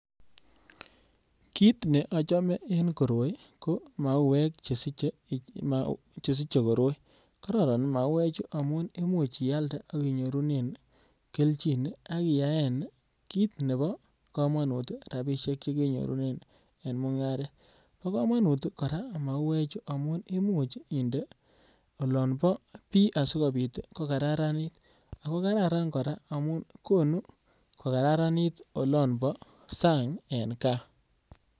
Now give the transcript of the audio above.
Kit ne achome en koroi ko mauwek che siche koroi. Kororon mauwechu amun imuch ialde ak inyorune keljin ak iyaen kit nebo kamanut rapisiek che kenyorunen eng mungaret. Bo kamanut kora mauwechu amun imuch inde olobo bii asikopit kokataranit ago kararan kora amun konu kokararanit olabo sang eng kaa.